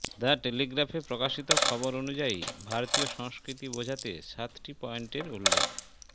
the টেলিগ্রাফে প্রকাশিত খবর অনুযায়ী ভারতীয় সংস্কৃতি বোঝাতে সাতটি পয়েন্টের উল্লেখ